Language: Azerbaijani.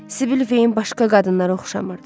Sibil Veyin başqa qadınlara oxşamırdı.